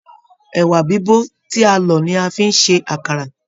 Ẹwà bibo tí a lọ ní a fi n se àkàrà.